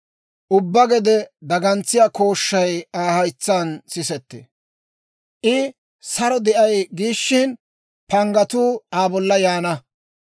Ubbaa gede dagantsiyaa kooshshay Aa haytsaan sisettee; I saro de'ay giishina, panggatuu Aa bolla yaana.